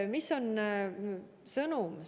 Mis on sõnum?